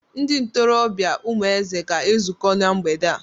Ndị ntorobịa Umueze ga-ezukọ na mgbede a.